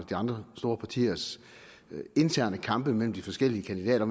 de andre store partiers interne kamp mellem de forskellige kandidater